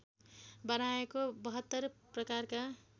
बनाएको ७२ प्रकारका